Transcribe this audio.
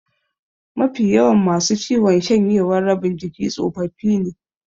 Mafi yawan masu ciwon shanyewar rabin jiki tsofaffi ne.